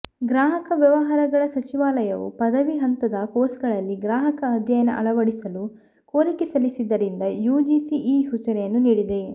ಗ್ರಾಹಕ ವ್ಯವಹಾರಗಳ ಸಚಿವಾಲಯವು ಪದವಿ ಹಂತದ ಕೋರ್ಸ್ಗಳಲ್ಲಿ ಗ್ರಾಹಕ ಅಧ್ಯಯನ ಅಳವಡಿಸಲು ಕೋರಿಕೆ ಸಲ್ಲಿಸಿದ್ದರಿಂದ ಯುಜಿಸಿ ಈ ಸೂಚನೆಯನ್ನು ನೀಡಿದೆ